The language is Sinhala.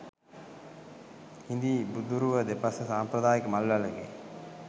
හිඳි බුදුරුව දෙපස සම්ප්‍රදායික මල් වැලකි